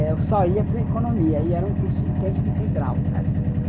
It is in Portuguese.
Eu só ia para a economia, e era um curso em tempo integral, sabe?